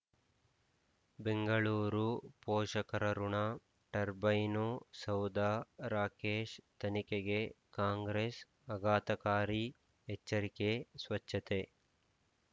ಬೆಂಗಳೂರು ಪೋಷಕರಋಣ ಟರ್ಬೈನು ಸೌಧ ರಾಕೇಶ್ ತನಿಖೆಗೆ ಕಾಂಗ್ರೆಸ್ ಅಗಾತಕಾರಿ ಎಚ್ಚರಿಕೆ ಸ್ವಚ್ಛತೆ